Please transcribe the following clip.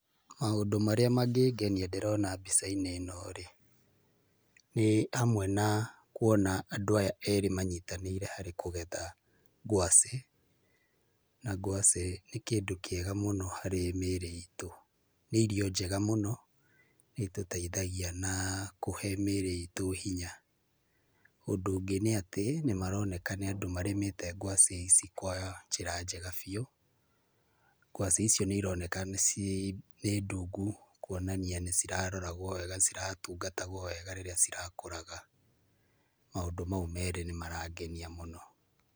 Maũndũ marĩa mangĩngenia harĩ mbica-inĩ ĩno nĩ hamwe na kwona andũ aya erĩ manyitanĩire harĩ kũgetha ngwacĩ, na ngwacĩ nĩ kĩndũ kĩega mũno harĩ mĩrĩ iitũ, nĩ irio njega mũno na nĩitũteithagia na kũhe mĩrĩ itũ hinya, ũndũ ũngĩ nĩ atĩ nĩ maroneka nĩ andũ marĩmĩte ngwacĩ ici kwa njĩra njega biũ, ngwacĩ icio nĩ ironeka nĩ cii indungu kwonania nĩ iraroragwo wega na nĩ itatungatagwo rĩrĩa ira kũraga maũndũ mau merĩ nĩ marangenia mũno.